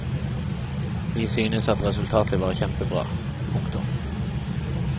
Vi synes at resultatet var kjempebra. punktum